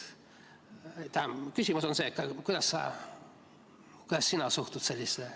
Küsimus on see, kuidas sa suhtud sellesse.